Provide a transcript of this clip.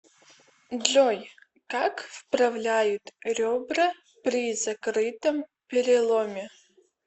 джой как вправляют ребра при закрытом переломе